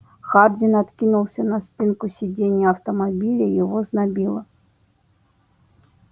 хардин откинулся на спинку сидения автомобиля его знобило